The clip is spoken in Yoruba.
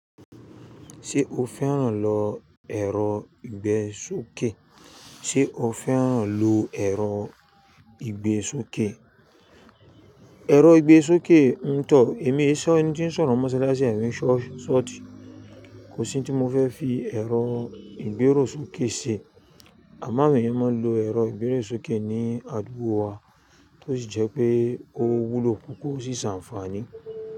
Ṣé o fẹ́ràn lọ ẹ̀rọ ìgbẹ́ sókè? Ṣé o fẹ́ràn lo ẹ̀rọ ìgbẹ́ sókè? Ẹ̀rọ ìgbẹ́ sókè, ńtọ̀, èmi sọ ẹni tí ń sọ̀rọ̀ mọ́ṣáláṣí àwọn ṣọ́ọ̀ṣì, kò sí ohun tí mo fẹ́ fi ẹ̀rọ ìgbérò sókè ṣe. Àmọ àwón èèyàn máa ń lo ẹ̀rọ ìgbérò sókè ní àdúgbò wa, tó sì jẹ́ pé ó wúlò púpọ̀ ó sì ṣàǹfààní.